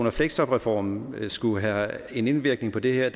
og fleksjobreformen skulle have en indvirkning på det her